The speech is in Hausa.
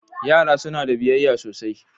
Yara suna da biyayya sosai.